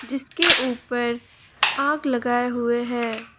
जिसके ऊपर आग लगाए हुए है।